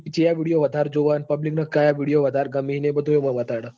Public ચિયા video વધારે જોવ ન public ને ક્યાં video વધારે ગમે ને એ બધું બતાડે.